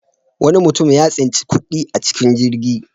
Wani mutum ya tsinci kuɗi a cikin jirgi.